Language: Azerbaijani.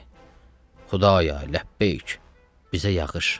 Xudaya, ləbbeyk, bizə yağış.